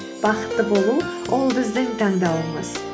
бақытты болу ол біздің таңдауымыз